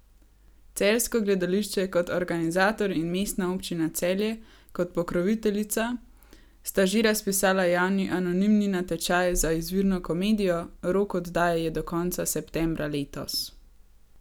Celjsko gledališče kot organizator in Mestna občina Celje kot pokroviteljica sta že razpisala javni anonimni natečaj za izvirno komedijo, rok oddaje je do konca septembra letos.